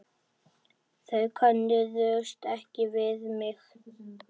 Þau könnuðust ekki við mig.